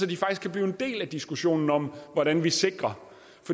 de faktisk kan blive en del af diskussionen om hvordan vi sikrer